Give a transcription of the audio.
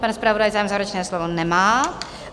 Pan zpravodaj zájem o závěrečné slovo nemá.